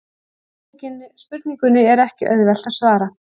Spurningunni er ekki auðvelt að svara.